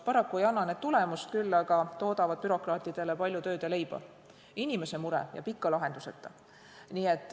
Paraku ei anna need tulemust, küll aga toodavad bürokraatidele palju tööd ja leiba ning inimese mure jääb ikka lahenduseta.